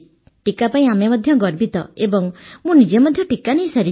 ଟିକା ପାଇଁ ମଧ୍ୟ ଆମେ ଗର୍ବିତ ଏବଂ ମୁଁ ନିଜେ ଟିକା ନେଇସାରିଛି